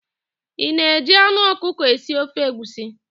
Ị na-eji anụ ọkụkọ esi ofe egwusi?